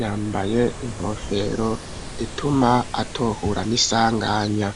yambaye ingofero ituma atohura n'isanganya.